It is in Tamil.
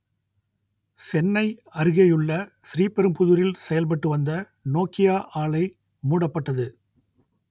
சென்னை அருகேயுள்ள ஸ்ரீபெரும்புதூரில் செயல்பட்டு வந்த நோக்கியா ஆலை மூடப்பட்டது